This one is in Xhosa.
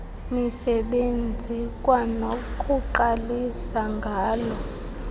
misebenzi kwanokuqalisa ngala